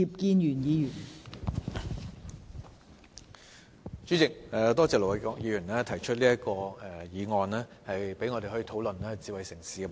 代理主席，多謝盧偉國議員提出這項議案，讓我們有機會討論智慧城市的問題。